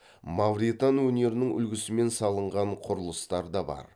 мавритан өнерінің үлгісімен салынған құрылыстар да бар